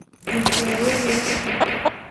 Mishariyadha way karte.